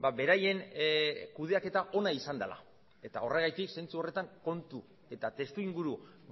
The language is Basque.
beraien kudeaketa ona izan dela eta horregatik zentzu horretan kontu eta testuinguru